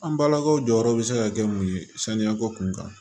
An balakaw jɔyɔrɔ bɛ se ka kɛ mun ye saniyako kun kan